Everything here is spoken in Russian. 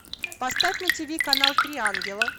поставь на тиви канал три ангела